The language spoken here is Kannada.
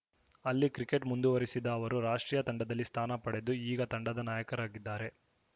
ಅಲ್ಲಿ ಕ್ರಿಕೆಟ್‌ ಮುಂದುವರಿಸಿದ ಅವರು ರಾಷ್ಟ್ರೀಯ ತಂಡದಲ್ಲಿ ಸ್ಥಾನ ಪಡೆದು ಈಗ ತಂಡದ ನಾಯಕರಾಗಿದ್ದಾರೆ